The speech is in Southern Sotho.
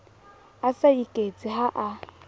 a sa iketse ha a